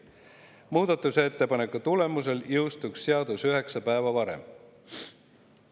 Muudatusettepaneku tulemusel jõustuks seadus üheksa päeva varem.